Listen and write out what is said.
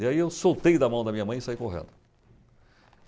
E aí eu soltei da mão da minha mãe e saí correndo.